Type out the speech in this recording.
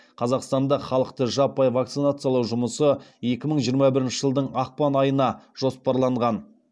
қазақстанда халықты жаппай вакцинациялау жұмысы екі мың жиырма бірінші жылдың ақпан айына жоспарланған